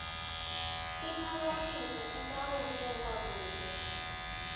tiphakamiso titawubekwa kute